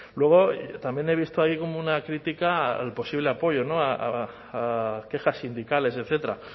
luego también he visto ahí como una crítica al posible apoyo a quejas sindicales etcétera